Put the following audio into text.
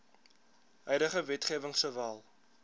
huidige wetgewing sowel